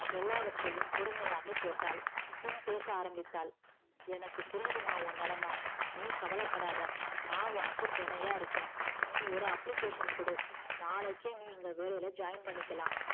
எல்லாவற்றையும் பொறுமையாக கேட்டால் பின் பெச ஆரம்பித்தால் எனக்கு புரிதுமா உன் நிலம நீ கவல படாத நா உனக்கு துணையா இருக்க நீ ஒரு application கொடு நாளைக்கே நீ இங்க வேலைல join பன்னிக்கலா